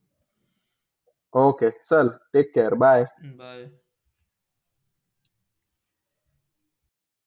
Okay चल take care bye